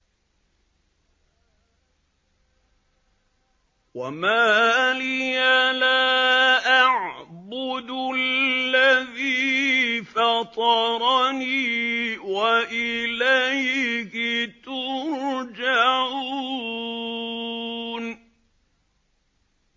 وَمَا لِيَ لَا أَعْبُدُ الَّذِي فَطَرَنِي وَإِلَيْهِ تُرْجَعُونَ